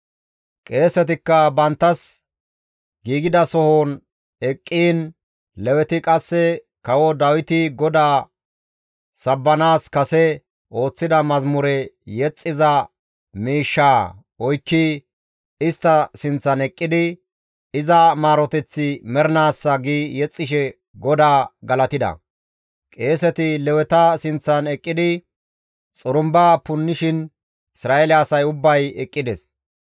Qeesetikka banttas giigidasohon eqqiin Leweti qasse kawo Dawiti GODAA sabbanaas kase ooththida mazamure yexxiza miishshaa oykki istta sinththan eqqidi, «Iza maaroteththi mernaassa» gi yexxishe GODAA galatida; qeeseti Leweta sinththan eqqidi xurumba punnishin Isra7eele asay ubbay eqqides.